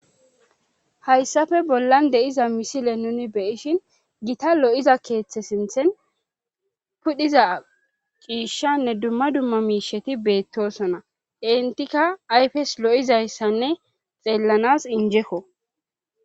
Hayssafe bollan de'iza misile nuni beyishin gita lo'iza keeththe sinthen pudhiza ciishshanne dumma dumma miisheti beettosona intika ayfes lo7izayssanne xeellanas injeko.